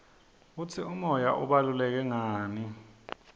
kutsi umoya ubaluleke ngani